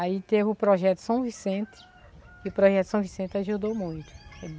Aí teve o Projeto São Vicente, e o Projeto São Vicente ajudou muito.